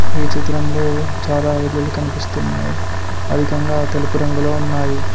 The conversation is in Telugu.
ఈ చిత్రంలో చాలా ఇల్లులు కనిపిస్తున్నాయి అధికంగా తెలుపు రంగులో ఉన్నాయి.